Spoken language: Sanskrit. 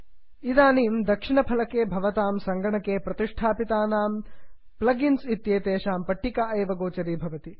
इदानीं दक्षिणफलके भवतां सङ्गणके संस्थापितानां प्लग् इन्स् इत्येतेषां पट्टिका एव गोचरी भवति